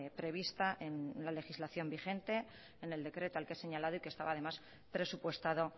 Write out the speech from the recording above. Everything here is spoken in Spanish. prevista en la legislación vigente en el decreto al que he señalado y que estaba además presupuestado